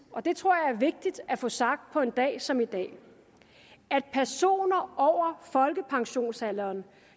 det tror jeg er vigtigt at få sagt på en dag som i dag at personer over folkepensionsalderen